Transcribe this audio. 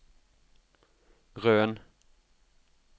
Røn